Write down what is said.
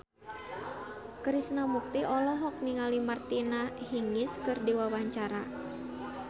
Krishna Mukti olohok ningali Martina Hingis keur diwawancara